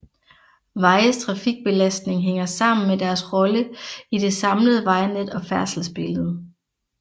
Vejes trafikbelastning hænger sammen med deres rolle i det samlede vejnet og færdselsbillede